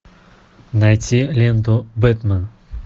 найти ленту бэтмен